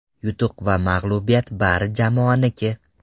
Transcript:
Yutuq va mag‘lubiyat bari jamoaniki.